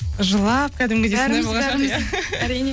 жылап кәдімгідей сондай болған шығар иә әрине